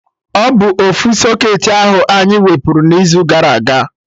Ọ bụ ofu socketị ahụ anyị wepụrụ n'izu gara aga?